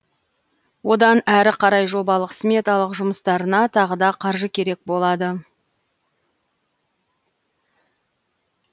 одан әрі қарай жобалық сметалық жұмыстарына тағы да қаржы керек болады